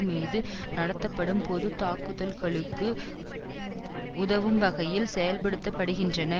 மீது நடத்தப்படும் பொது தாக்குதல்களுக்கு உதவும் வகையில் செயல்படுத்த படுகின்றன